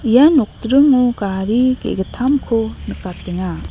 ia nokdringo gari ge·gittamko nikatenga.